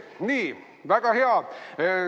Nii, väga hea!